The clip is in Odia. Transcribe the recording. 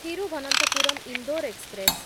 ଥିରୁଭନନ୍ତପୁରମ୍ ଇନ୍ଦୋର ଏକ୍ସପ୍ରେସ୍‌